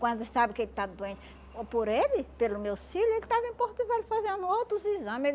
Quando sabe que ele está doente por ele, pelo meus filho, ele estava em Porto Velho fazendo outros exame.